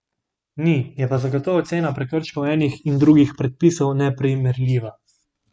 Ni, je pa zagotovo cena prekrškov enih in drugih predpisov neprimerljiva.